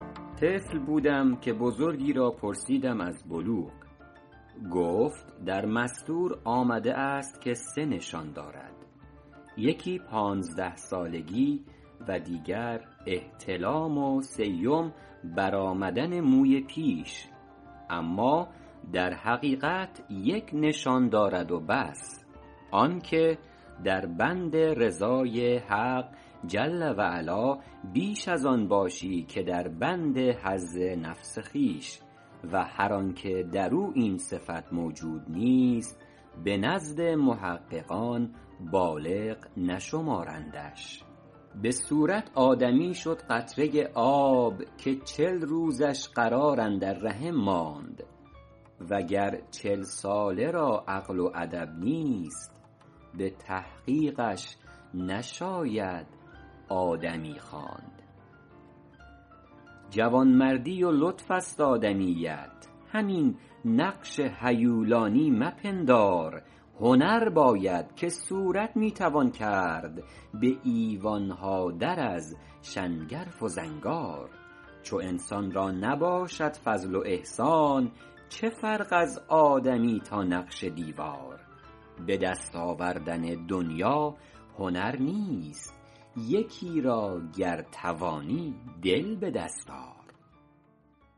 طفل بودم که بزرگی را پرسیدم از بلوغ گفت در مسطور آمده است که سه نشان دارد یکی پانزده سالگی و دیگر احتلام و سیم بر آمدن موی پیش اما در حقیقت یک نشان دارد و بس آن که در بند رضای حق جل و علا بیش از آن باشی که در بند حظ نفس خویش و هر آن که در او این صفت موجود نیست به نزد محققان بالغ نشمارندش به صورت آدمی شد قطره آب که چل روزش قرار اندر رحم ماند و گر چل ساله را عقل و ادب نیست به تحقیقش نشاید آدمی خواند جوانمردی و لطف است آدمیت همین نقش هیولانی مپندار هنر باید که صورت می توان کرد به ایوان ها در از شنگرف و زنگار چو انسان را نباشد فضل و احسان چه فرق از آدمی تا نقش دیوار به دست آوردن دنیا هنر نیست یکی را گر توانی دل به دست آر